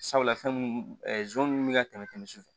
Sabula fɛn mun bɛ ka tɛmɛ sufɛ